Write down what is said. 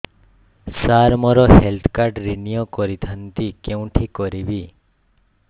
ସାର ମୋର health card renew କରିଥାନ୍ତି କେଉଁଠି କରିବି